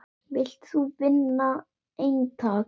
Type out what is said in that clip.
Vilt þú vinna eintak?